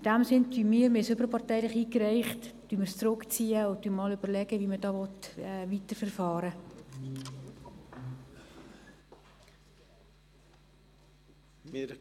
In diesem Sinn ziehen wir das Postulat, das wir überparteilich eingereicht haben, zurück und werden uns überlegen, wie man damit weiterverfahren will.